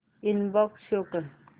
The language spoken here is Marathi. इनबॉक्स शो कर